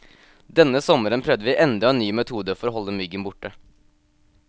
Denne sommeren prøvde vi enda en ny metode for å holde myggen borte.